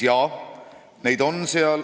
Jaa, neid on seal.